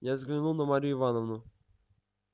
я взглянул на марью ивановну